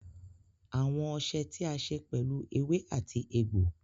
Awọn ọṣẹ̀ tí a ṣè pẹ̀lú awọn èwè àti ègbò.